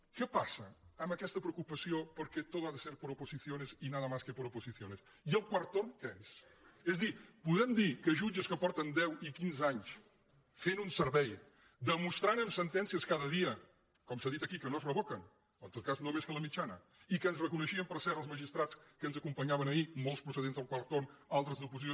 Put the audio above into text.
què passa amb aquesta preocupació perquè todo ha de ser por oposiciones y nada más que por oposiciones i el quart torn què és és a dir podem dir que jutges que fa deu i quinze anys que fan un servei demostrant amb sentències cada dia com s’ha dit aquí que no es revoquen o en tot cas no més que la mitjana i que ens reconeixien per cert els magistrats que ens acompanyaven ahir molts pro·cedents del quart torn altres d’oposició